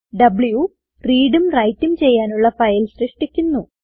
വ്വ് readഉം writeഉം ചെയ്യാനുള്ള ഫയൽ സൃഷ്ടിക്കുന്നു